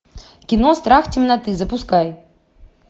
кино страх темноты запускай